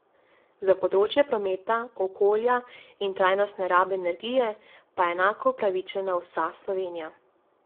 Za področje prometa, okolja in trajnostne rabe energije pa je enako upravičena vsa Slovenija.